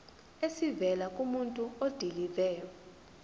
esivela kumuntu odilive